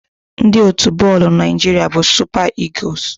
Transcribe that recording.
Ndị otu bọọlụ Naịjiria bụ Super Eagles.